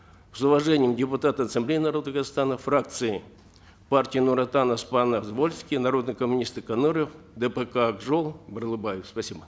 с уважением депутаты ассамблеи народа казахстана фракции партии нур отан оспанов звольский народные коммунисты конуров дпк ак жол барлыбаев спасибо